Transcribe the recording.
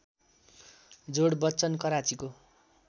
जोड बच्चन कराँचीको